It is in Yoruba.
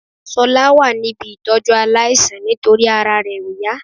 Ṣọlá wà níbí ìtọ́jú aláìsàn nítorí ara rẹ ò yá